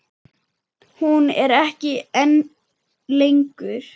Hún er ekki ein lengur.